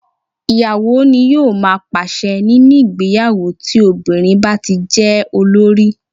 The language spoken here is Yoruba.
Ì̀yàwó ní yóò má pàṣe nínú ìgbéyàwó tí obìnrin bá tí jẹ́ olórí.